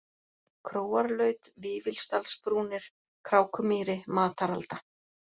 Króarlaut, Vífilsdalsbrúnir, Krákumýri, Mataralda